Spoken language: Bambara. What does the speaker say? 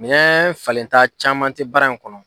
Minɛn falenta caman tɛ baara in kɔnɔ.